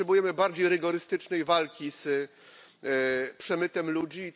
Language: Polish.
Potrzebujemy bardziej rygorystycznej walki z przemytem ludzi.